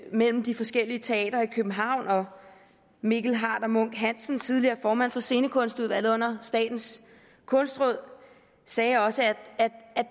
mellem de forskellige teatre i københavn og mikkel harder munck hansen den tidligere formand for scenekunstudvalget under statens kunstråd sagde også at